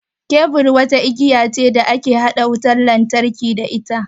Kebur wata igiya ce da ake haɗa wutan lantarki da ita.